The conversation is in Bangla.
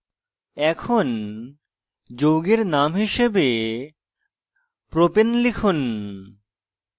এখন যৌগের name হিসাবে propane লিখুন